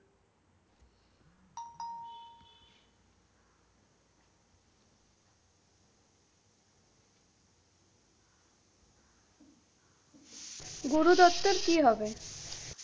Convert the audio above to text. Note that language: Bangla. গুরু দত্তের কি হবে?